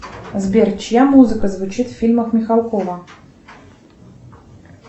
сбер чья музыка звучит в фильмах михалкова